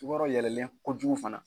Sukɔrɔ yɛlɛlen kojugu fana